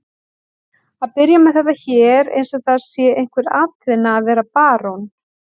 Að byrja með þetta hér eins og það sé einhver atvinna að vera barón?